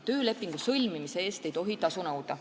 Töölepingu sõlmimise eest ei tohi tasu nõuda.